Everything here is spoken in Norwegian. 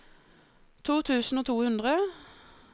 to tusen og to hundre